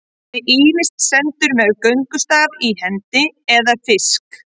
Hann er ýmist sýndur með göngustaf í hendi eða fisk.